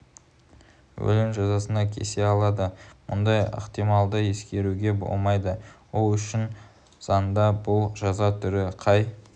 өлім жазасына кесе алады мұндай ықтималды ескермеуге болмайды ол үшін заңда бұл жаза түрі қай